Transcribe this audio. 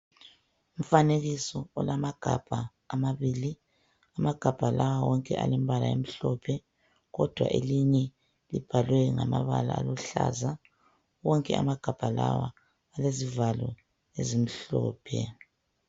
Umfanekiso olamagabha amabili. Amagabha lawa wonke alembala emhlophe kodwa elinye libhalwe ngamabala aluhlaza. Wonke amagabha lawa alezivalo ezimhlophe.